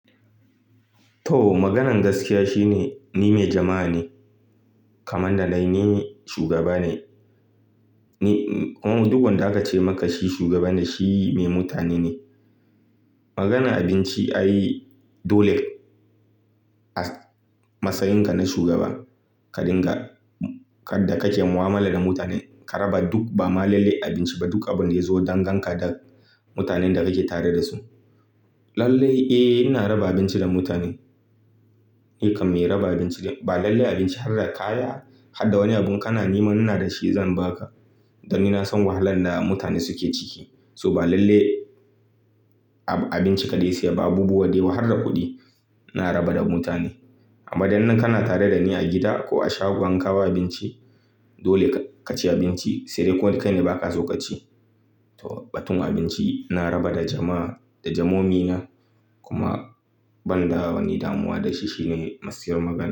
To, maganan gaskiya shine ni mai jama'a ne. Kamanda na ni shugaba ne. Ni kuma duk wanda aka ce maka shi shugaba ne, shi mai mutane ne. Maganan abinci ai dole a matsayinka na shugaba ka dinga kadda ka ke mu'amala da mutane. Ka raba duk, ba lallai abinci ba, duk abin da ya zo don ganka da mutanen da kake tare da su. Lallai, eh, ina raba abinci da mutane. Ni kam mai raba abinci ne. Ba lallai abinci ba, har da kaya, har da wani abu in kana nema, in ina da shi zan ba ka. Don ni na san wahalan da mutane suke ciki. So ba lallai abinci kaɗai, sai ba abubuwa dayawa har da kuɗi. Ina raba da mutane. Amma dai idan kana tare da ni a gida ko a shagon ka ba abinci, dole ka ci abinci. Sai dai ko dai kai ne ba ka so ka ci. To, batun abinci ina raba da jama'a, da jamomi na. Kuma banda wani damuwa da shi shine matsiyar magana.